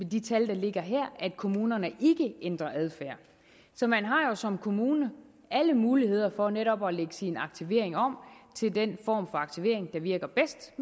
de tal der ligger her at kommunerne ikke ændrer adfærd så man har jo som kommune alle muligheder for netop at lægge sin aktivering om til den form for aktivering der virker bedst